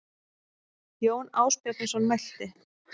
Jón Ásbjarnarson mælti